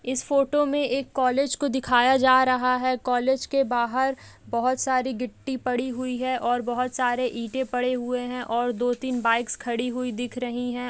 इस फोटो मे एक कॉलेज को दिखाया जा रहा है| कॉलेज के बाहर बहुत सारे गिट्टी पड़ी हुई है और बहुत सारे ईटे पड़े हुए है और दो तीन बाइकस खड़ी हुई दिख रही है ।